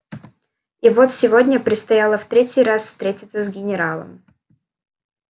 и вот сегодня предстояло в третий раз встретиться с генералом